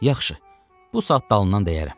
Yaxşı, bu saat dalından dəyərəm.